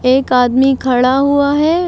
एक आदमी खड़ा हुआ है।